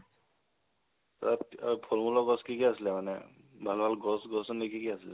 তাত ফল-মুলৰ গছ কি কি আছিলে মানে, ভাল ভাল গছ গছনি কি কি আছিলে?